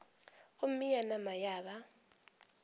gomme ya nama ya ba